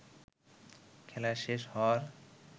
খেলা শেষ হওয়ার